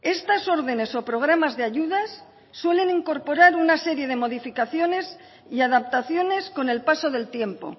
estas órdenes o programas de ayudas suelen incorporar una serie de modificaciones y adaptaciones con el paso del tiempo